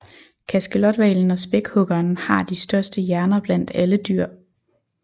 Kaskelothvalen og spækhuggeren har de største hjerner blandt alle dyr